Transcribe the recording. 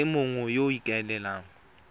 le mongwe yo o ikaelelang